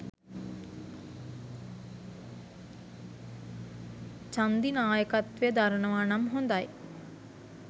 චන්දි නායකත්වය දරනවා නම් හොඳයි.